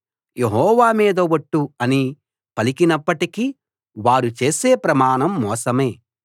యెహోవా మీద ఒట్టు అని పలికినప్పటికీ వారు చేసే ప్రమాణం మోసమే